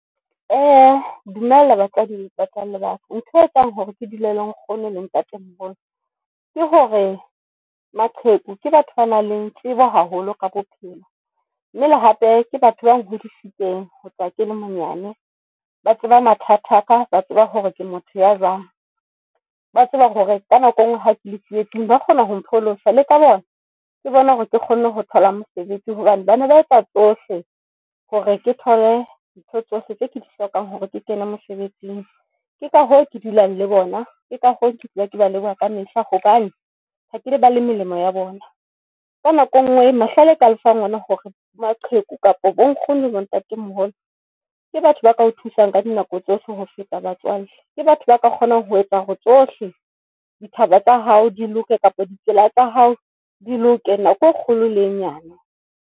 Dumela batswadi ba ntho e etsang hore ke dula le nkgono le ntatemoholo ke hore maqheku ke batho ba nang le tsebo haholo ka bophelo, mme le hape ke batho ba nhodisitseng ho tloha ke le monyane. Ba tseba mathata aka ba tseba hore ke motho ya jwang. Ba tseba hore ka nako engwe ha ke le tsietsing ba kgona ho pholosa le ka bona ke bona hore ke kgone ho thola mosebetsi hobane bana ba etsa tsohle hore ke thole ntho tsohle tse ke di hlokang hore ke kene mosebetsing. Ke ka hoo ke dulang le bona ke ka ho ke dula ke ba leboha ka mehla hobane ha ke ile ba le melemo ya bona ka nako. E ngwe mahlale ka le fang ona hore theko kapa bo nkgono bo ntatemoholo ke batho ba kao thusang ka dinako tsohle ho feta batswalle ke batho ba ka kgonang ho etsa hore tsohle ditaba tsa hao di loke, kapa ditsela tsa hao di le ho kena ko kgolo le nyana.